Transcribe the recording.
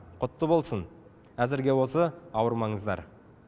құтты болсын әзірге осы ауырмаңыздар